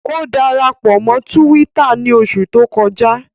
O darapọ mọ Túwìtá ni oṣu to kọja